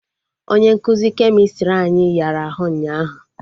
Onye nkụzi kemịstrị anyị yara ahụ ụnyaahụ